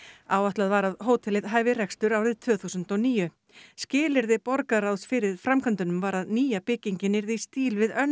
áætlað var að hótelið hæfi rekstur árið tvö þúsund og níu skilyrði borgarráðs fyrir framkvæmdunum var að nýja byggingin yrði í stíl við önnur